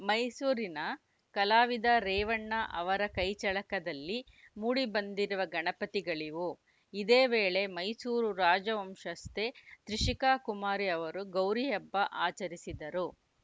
ಮೈಸೂರಿನ ಕಲಾವಿದ ರೇವಣ್ಣ ಅವರ ಕೈಚಳಕದಲ್ಲಿ ಮೂಡಿಬಂದಿರುವ ಗಣಪತಿಗಳಿವು ಇದೇ ವೇಳೆ ಮೈಸೂರು ರಾಜವಂಶಸ್ಥೆ ತ್ರಿಷಿಕಾಕುಮಾರಿ ಅವರು ಗೌರಿ ಹಬ್ಬ ಆಚರಿಸಿದರು